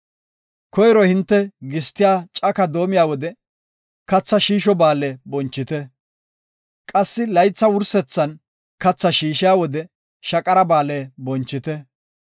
“Koyro hinte gistiya cako doomiya wode, Katha Shiisho Ba7aale bonchite. Qassi laytha wursetha kathaa shiishiya wode, Shaqara Ba7aale bonchite.